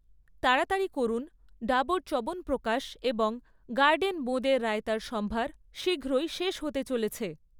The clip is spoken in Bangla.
তাড়াতাড়ি করুন, ডাবর চ্যবনপ্রকাশ এবং গার্ডেন বোঁদের রায়তার সম্ভার শীঘ্রই শেষ হতে চলেছে৷